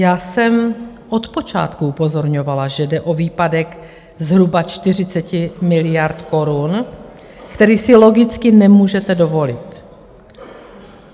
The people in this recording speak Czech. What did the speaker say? Já jsem od počátku upozorňovala, že jde o výpadek zhruba 40 miliard korun, který si logicky nemůžete dovolit.